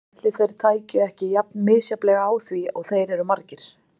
Ætli þeir tækju ekki jafn misjafnlega á því og þeir eru margir.